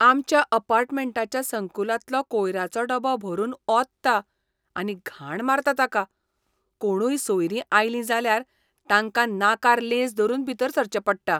आमच्या अपार्टमेंटाच्या संकुलांतलो कोयराचो डबो भरून ओंतता आनी घाण मारता ताका. कोणूय सोयरीं आयलीं जाल्यार तांकां नाकार लेंस धरून भीतर सरचें पडटा.